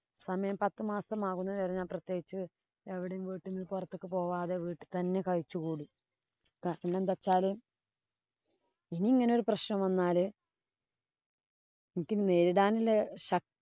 സമയം പത്തുമാസം ആകുന്നതു വരെ ഞാന്‍ പ്രത്യേകിച്ച് എവിടേം വീട്ടീന്ന് പൊറത്തേക്ക് പോവാതെ വീട്ടീ തന്നെ കഴിച്ചുകൂടി. എന്തു വച്ചാല് ഇനി ഇങ്ങനെ ഒരു പ്രശ്നം വന്നാല് എനിക്ക് നേരിടാനുള്ള ശക്തി~